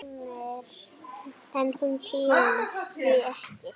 En hún tímir því ekki!